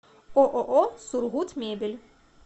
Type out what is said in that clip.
ооо сургутмебель